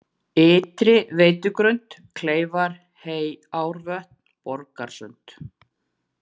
Ytri-Veitugrund, Kleifar, Heyárvötn, Borgarsund